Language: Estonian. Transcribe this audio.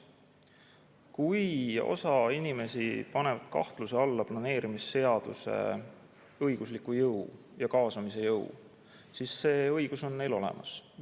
Kui osa inimesi paneb planeerimisseaduse õigusliku jõu ja kaasamise jõu kahtluse alla, siis see õigus on neil olemas.